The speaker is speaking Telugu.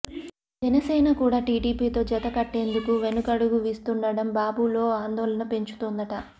ఇక జనసేన కూడా టీడీపీతో జత కట్టేందుకు వెనకడుగు వీస్తుండడం బాబు లో ఆందోళన పెంచుతోందట